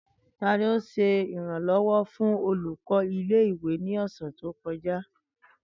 Tani o ṣe iranlọwọ fun olukọ ile-iwe ni ọse to kọja?